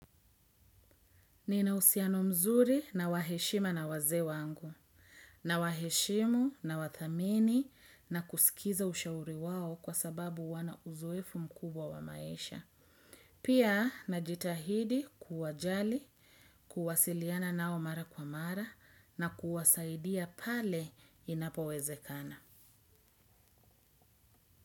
Ninauhusiano mzuri na wa heshima na wazee wangu, nawaheshimu nawathamini na kusikiza ushauri wao kwa sababu wana uzoefu mkubwa wa maisha. Pia najitahidi kuwajali, kuwasiliana nao mara kwa mara na kuwasaidia pale inapowezekana.